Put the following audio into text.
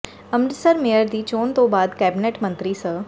Amritsar mayor ਦੀ ਚੋਣ ਤੋਂ ਬਾਅਦ ਕੈਬਨਿਟ ਮੰਤਰੀ ਸ